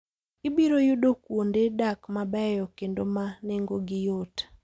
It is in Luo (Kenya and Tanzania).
Ibiro yudo kuonde dak mabeyo kendo ma nengogi yot.